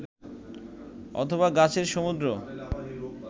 অথবা গাছের সমুদ্র